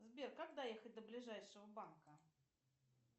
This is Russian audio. сбер как доехать до ближайшего банка